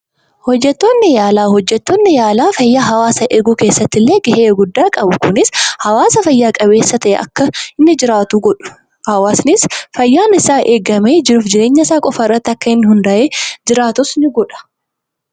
Hojjettoonni yaalaa: Hojjettoonni yaalaa fayyaa hawwaasaa eeguu keessatti illee ga'ee guddaa qabu. Kunis hawwaasa fayya qabeessa ta'e akka inni jiraatu godhu. Hawwaasnis fayyaan isaa eegamee jiruuf jireenya isaa qofa irratti akka inni hundaa'ee jiraatus ni godha.